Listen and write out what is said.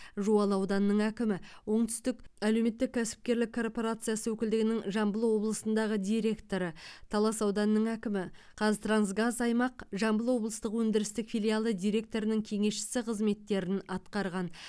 жуалы ауданының әкімі оңтүстік әлеуметтік кәсіпкерлік корпорациясы өкілдігінің жамбыл облысындағы директоры талас ауданының әкімі қазтрансгаз аймақ жамбыл облыстық өндірістік филиалы директорының кеңесшісі қызметтерін атқарған